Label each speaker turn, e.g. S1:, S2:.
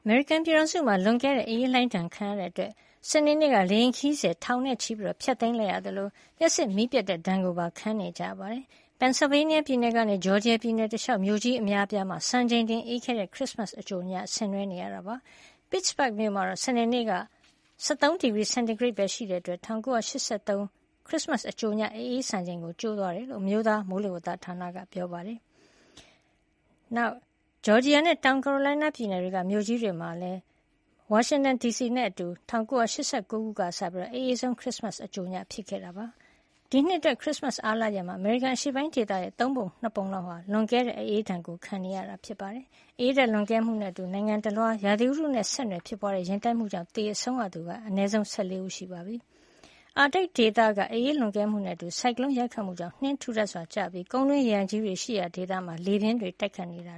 S1: မေရိကန်ပြည်ထောင်စုမှာ လွန်ကဲတဲ့ အအေးလှိုင်းဒဏ်ခံနေရတဲ့ အတွက် စနေနေ့က လေယာဉ်ခရီးစဉ် ထောင်နဲ့ချီ ဖျက်သိမ်းခဲ့ရသလို လျှပ်စစ်မီးပျက်တဲ့ ဒဏ်ကိုပါ ခံနေကြရပါတယ်။ Pennsylvania ပြည်နယ်ကနေ ဂျော်ဂျီယာ ပြည်နယ် တလျှောက် မြို့ကြီးအများပြားမှာ စံချိန်တင်အေးခဲတဲ့ ခရစ်စမတ်အကြိုညကို ဆင်နွဲနေရပါတယ်။ Pittsburgh မြို့မှာ စနေနေ့က ၁၃ ဒီဂရီစင်တီဂရိတ်ပဲ ရှိတဲ့ အတွက် ၁၉၈၃ ခုနှစ်က ခရစ်စတ်အကြိုည အအေးစံချိန် ကြိုးသွားတယ်လို့ အမျိုးသား မိုးလေဝဿဌာနက ပြောပါတယ်။ ဂျော်ဂျီယာနဲ့ တောင်ကာရိုလိုင်းနား ပြည်နယ်တွေက မြို့ကြီးတွေနဲ့ အတူ ဝါရှင်တန်ဒီစီမှာလည်း ၁၉၈၉ ခုနှစ်ကစပြီး အအေးဆုံး ခရစ်စမတ်အကြိုညဖြစ်ခဲ့တာပါ။ ဒီနှစ်အတွက် ခရစ်စမတ်အားလပ်ရက်ကို အမေရိကန်အရှေ့ပိုင်း ဒေသရဲ့ သုံးပုံ ၂ ပုံလောက်ဟာ လွန်ကဲတဲ့ အအေးဒဏ်ကို ခံနေကြရတာပါ။ အအေးဓါတ်လွန်ကဲမှုနဲ့ အတူ နိုင်ငံတလွှား ရာသီဥတုနဲ့ဆက်နွယ်ဖြစ်ပွါးတဲ့ ယဉ်တိုက်မှုကြောင့် သေဆုံးရသူက အနည်းဆုံး ၁၄ ဦး ရှိပြီလို့ ပြည်တွင်း သတင်းတွေမှာ ဖေါ်ပြနေပါတယ်။ အာတိတ်ဒေသ အအေးလွန်ကဲမှုနဲ့ အတူ ဆိုင်ကလုံးရိုက်ခတ်မှုကြောင့် နှင်းတွေ ထူထပ်စွာ ကျရောက်ပြီး ကုန်းတွင်းရေအိုင်ကြီးတွေ ရှိရာဒေသမှာ လေပြင်းတွေ တိုက်ခတ်နေတာ